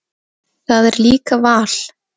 Það er líka val.